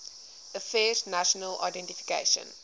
affairs national identification